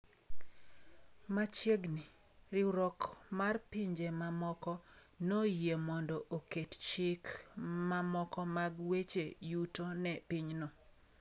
Machiegni, riwruok mar Pinje Mochokore noyie mondo oket chik mamoko mag weche yuto ne pinyno.